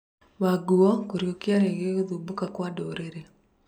Wanguo kũrĩũkia rĩngi gũthubũka kwa ndũrĩrĩ.